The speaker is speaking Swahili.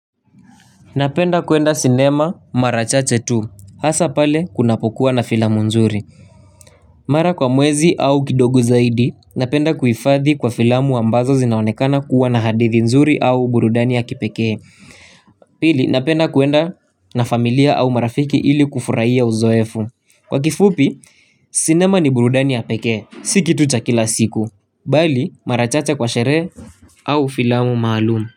Napenda kwenda sinema mara chache tu hasa pale kunapokuwa na filamu nzuri. Mara kwa mwezi au kidogo zaidi napenda kuhifadhi kwa filamu ambazo zinaonekana kuwa na hadithi nzuri au burudani ya kipekee. Pili napenda kwenda na familia au marafiki ili kufurahia uzoefu. Kwa kifupi sinema ni burudani ya pekee. Si kitu cha kila siku bali mara chache kwa sherehe au filamu maalum.